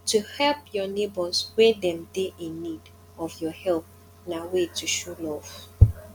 to help your neighbors when dem de in need of your help na way to show love